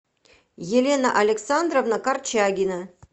елена александровна корчагина